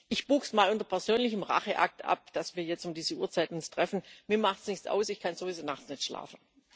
Ich buche es mal unter persönlichem Racheakt ab, dass wir uns jetzt um diese Uhrzeit treffen mir macht es nichts aus, ich kann sowieso nachts nicht schlafen.